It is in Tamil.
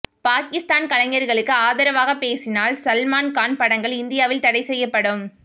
பாகிஸ்தான் கலைஞர்களுக்கு ஆதரவாகப் பேசினால் சல்மான் கான் படங்கள் இந்தியாவில் தடை செய்யப்படும்